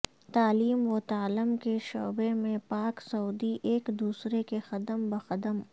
تعلیم و تعلم کے شعبے میں پاک سعودی ایک دوسرے کے قدم بقدم